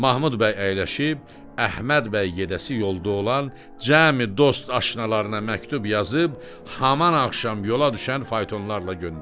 Mahmud bəy əyləşib Əhməd bəy gedəsi yolda olan cəmi dost-aşnalarına məktub yazıb haman axşam yola düşən faytonlarla göndərir.